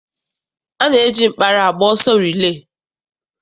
A na-eji mkpara agba ọsọ rilee.